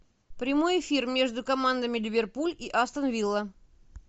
прямой эфир между командами ливерпуль и астон вилла